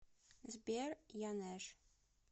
сбер янэж